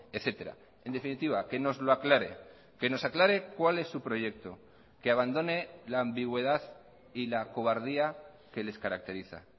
etcétera en definitiva que nos lo aclare que nos aclare cuál es su proyecto que abandone la ambigüedad y la cobardía que les caracteriza